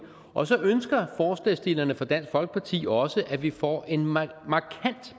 og så ønsker forslagsstillerne fra dansk folkeparti også at vi får en markant